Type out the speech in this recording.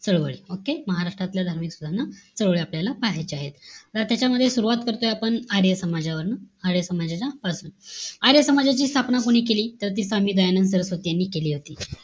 चळवळी. Okay? महाराष्ट्रातल्या धार्मिक सुधारणा चळवळी आपल्याला पाहायच्या आहेत. त त्याच्यामध्ये सुरवात करतोय आपण आर्य समजावरनं. आर्य समाजच्या . आर्य समाजची स्थापना कोणी केली? तर ती स्वामी दयानंद सरस्वती यांनी केली होती.